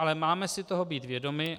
Ale máme si toho být vědomi.